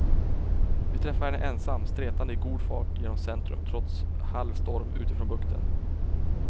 Vi träffar henne ensam stretande i god fart genom centrum trots halv storm utifrån bukten.